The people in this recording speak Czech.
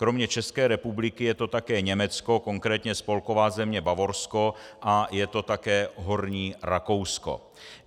Kromě České republiky je to také Německo, konkrétně Spolková země Bavorsko, a je to také Horní Rakousko.